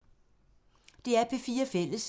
DR P4 Fælles